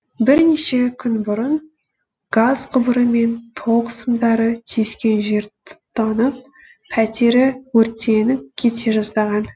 бірнеше күн бұрын газ құбыры мен тоқ сымдары түйіскен жер тұтанып пәтері өртеніп кете жаздаған